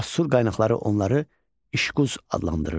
Assur qaynaqları onları İşquz adlandırırdı.